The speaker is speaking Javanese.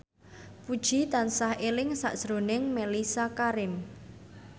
Puji tansah eling sakjroning Mellisa Karim